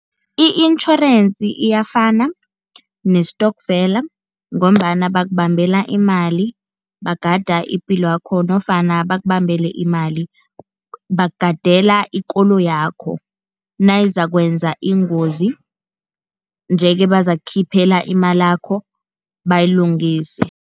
I-insurance iyafana nestokfela, ngombana bakubambela imali bagada ipilo yakho nofana bakubambele imali, bakugadela ikoloyakho nayizakwenza ingozi, nje-ke bazakukhiphela imalakho bayilungise.